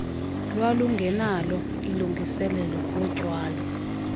lwalungenalo ilungiselelo lotyalo